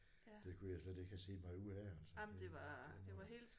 Det kunne jeg slet ikke have set mig ud af altså det det var